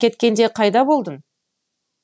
кеткенде қайда болдың